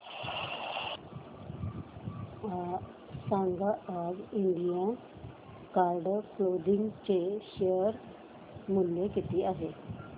सांगा आज Indian card clothing चे शेअर मूल्य किती आहे